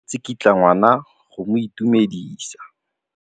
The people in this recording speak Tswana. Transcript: Mme o tsikitla ngwana go mo itumedisa.